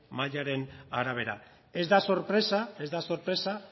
mailaren arabera ez da sorpresa ez da sorpresa